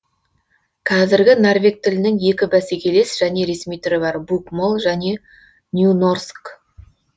қазіргі норвег тілінің екі бәсекелес және ресми түрі бар букмол және нюнорск